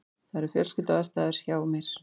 Það eru fjölskylduaðstæður hjá mér.